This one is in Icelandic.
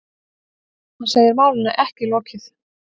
Hann segir málinu ekki lokið.